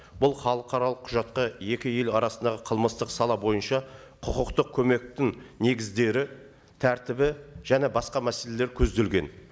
бұл халықаралық құжатқа екі ел арасындағы қылмыстық сала бойынша құқықтық көмектің негіздері тәртібі және басқа мәселелер көзделген